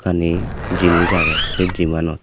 jinich aage se gym anot.